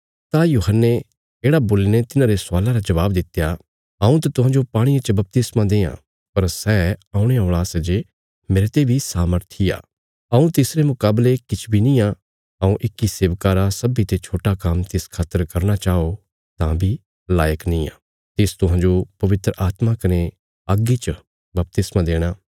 तां यूहन्ने येढ़ा बोलीने तिन्हारे सवाला रा जवाब दित्या हऊँ त तुहांजो पाणिये च बपतिस्मा देआं पर सै औणे औल़ा सै जे मेरते बी सामर्थी आ हऊँ तिसरे मुकावले किछ बी नींआ हऊँ इक्की सेवका रा सब्बीं ते छोट्टा काम्म तिस खातर करना चाओ तां बी लायक नींआ तिस तुहांजो पवित्र आत्मा कने अग्गी च बपतिस्मा देणा